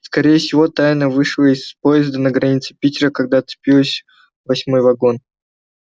скорее всего тайно вышла из поезда на границе питера когда отцепилось восьмой вагон